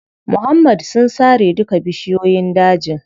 Muhammad sun sare duka bishiyoyin dajin.